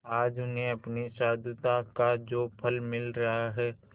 आज उन्हें अपनी साधुता का जो फल मिल रहा है